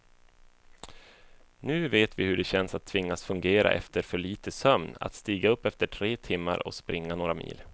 Nu vet vi hur det känns att tvingas fungera efter för lite sömn, att stiga upp efter tre timmar och springa några mil.